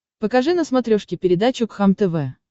покажи на смотрешке передачу кхлм тв